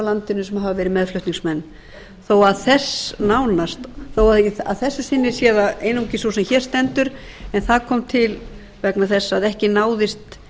landinu sem hafa verið meðflutningsmenn þó að þessu sinni sé það einungis sú sem hér stendur en það kom til vegna þess að ekki náðist